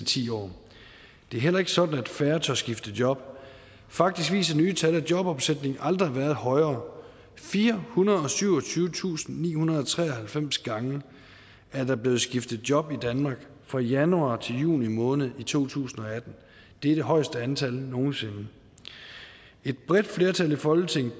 ti år det er heller ikke sådan at færre tør skifte job faktisk viser nye tal at jobomsætningen aldrig har været højere firehundrede og syvogtyvetusindnihundrede og treoghalvfems gange er der blevet skiftet job i danmark fra januar til juni måned i to tusind og atten det er det højeste antal nogen sinde et bredt flertal i folketinget